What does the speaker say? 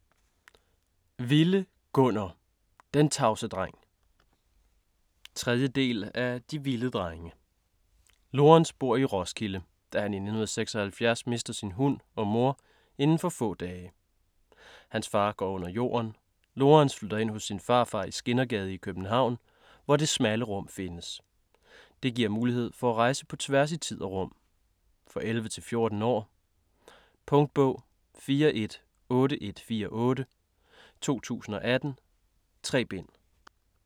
Wille, Gunnar: Den tavse dreng 3. del af De Wille drenge. Lorens bor i Roskilde, da han i 1976 mister sin hund og mor indenfor få dage. Hans far går under jorden. Lorens flytter ind hos sin farfar i Skindergade i København, hvor Det smalle Rum findes. Det giver mulighed for rejser på tværs i tid og rum. For 11-14 år. Punktbog 418148 2018. 3 bind.